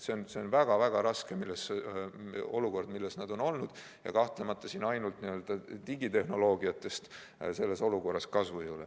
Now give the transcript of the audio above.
See on väga-väga raske olukord, milles õpetajad on olnud, ja siin kahtlemata ainult digitehnoloogiatest ei piisa.